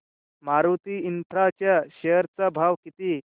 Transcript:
Maruti infra च्या share चा भाव किती